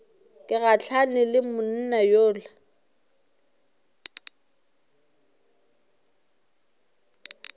ke gahlane le monna yola